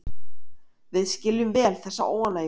Við skiljum vel þessa óánægju